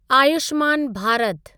Ayushman Bharat